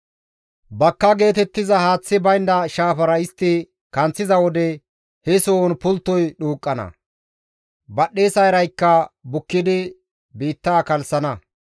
Bakka geetettiza haaththi baynda shaafara istti kanththiza wode he sohon pulttoy dhuuqqana; Badhdhesa iraykka bukkidi biitta kalssana.